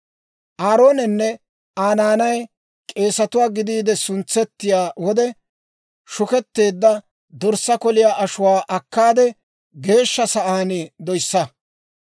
«Aaroonenne Aa naanay k'eesatuwaa gidiide suntsettiyaa wode shuketteedda dorssaa koliyaa ashuwaa akkaade, geeshsha sa'aan doyssa.